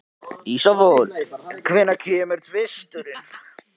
Ísfold, hvenær kemur tvisturinn?